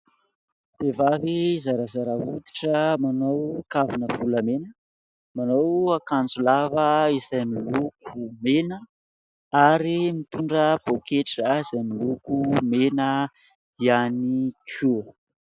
Vehivavy zarazara hoditra manao kavina volamena, manao akanjo lava izay miloko mena ary mitondra pôketra izay miloko mena ihany koa.